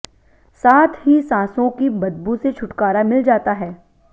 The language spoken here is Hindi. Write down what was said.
साथ ही सांसों की बदबू से छुटकारा मिल जाता है